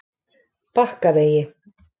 Bakkavegi